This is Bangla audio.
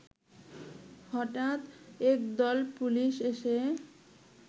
হঠাৎ একদল পুলিশ এসে